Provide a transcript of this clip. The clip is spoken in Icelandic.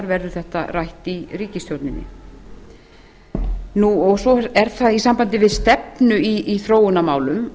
verður þetta rætt í ríkisstjórninni svo er að í sambandi við stefnu í þróunarmálum